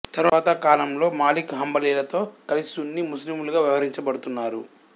తరువాత కాలంలో మాలిక్ హంబలీలతో కలిసి సున్నీ ముస్లిములుగా వ్యవహరించబడుతున్నారు